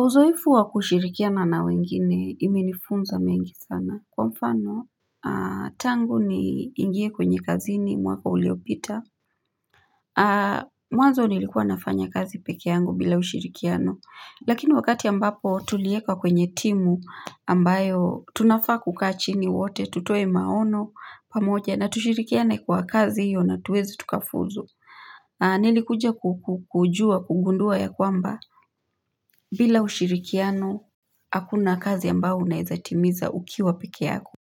Uzoefu wa kushirikiana na wengine imenifunza mengi sana kwa mfano tangu niingie kwenye kazini mwaka uliopita mwanzo nilikuwa nafanya kazi peke yangu bila ushirikiano. Lakini wakati ambapo tuliekwa kwenye timu ambayo tunafaa kukaa chini wote tutoe maono pamoja na tushirikiane kwa kazi hiyo na tuweze tukafuzu. Nilikuja kujua kugundua ya kwamba bila ushirikiano hakuna kazi ambao unaeza timiza ukiwa peke yako.